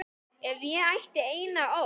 Ef ég ætti eina ósk.